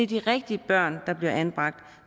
de rigtige børn der bliver anbragt